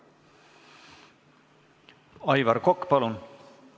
Aivar Kokk, palun!